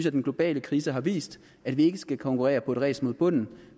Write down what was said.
at den globale krise har vist at vi ikke skal konkurrere på et ræs mod bunden